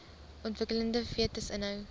ontwikkelende fetus inhou